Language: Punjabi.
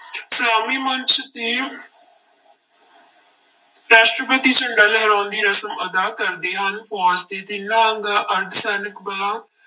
ਸਲਾਮੀ ਮੰਚ ਤੇ ਰਾਸ਼ਟਰਪਤੀ ਝੰਡਾ ਲਹਿਰਾਉਣ ਦੀ ਰਸਮ ਅਦਾ ਕਰਦੇ ਹਨ, ਫੌਜ਼ ਦੇ ਤਿੰਨਾ ਅੰਗਾਂ ਅਰਧ ਸੈਨਿਕ ਬਲਾਂ